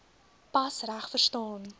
pas reg verstaan